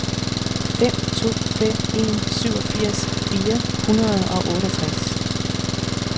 fem to fem en syvogfirs fire hundrede og otteogtres